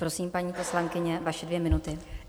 Prosím, paní poslankyně, vaše dvě minuty.